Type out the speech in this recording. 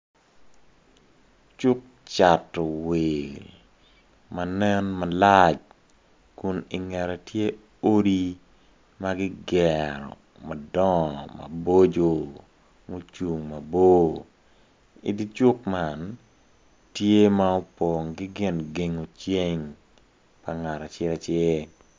Cuk Cato wil ma nen malac Kun ingette tye odi ma gigero madongo maboco mucung mabor idi cuk man tye ma opong ki gin gengo ceng pa ngat acel acel